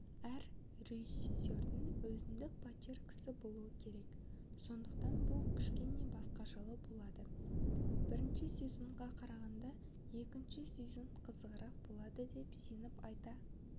әр режиссердің өзіндік почеркісі болу керек сондықтан бұл кішкене басқашалау болады бірінші сезонға қарағанда екінші сезон қызығырақ болады деп сеніп айта